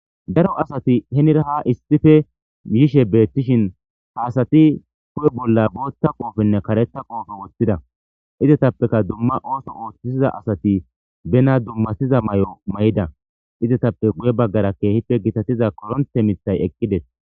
Daro asati heenira ha issippe yishe beettishin ha asatti huphphe bollan booththa qooppenne kareththa qooppee woththida iizetapekka dumma ooththo ooththiza asatii bena dummasiza mayo mayidda izetappe guuye baggara keehippe giittatiz korontte miiththay eeqidees